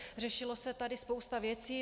Řešila se tady spousta věcí.